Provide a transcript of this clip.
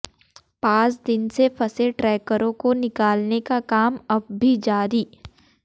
पांच दिन से फंसे ट्रेकरों को निकालने का काम अब भी जारी